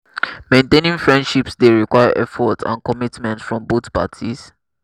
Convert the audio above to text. maintaining friendships dey require effort and commitment from both parties.